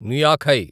నుయాఖై